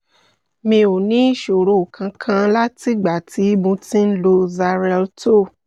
mi ò ní ìṣòro kankan látìgbà tí mo ti ń lo xarelto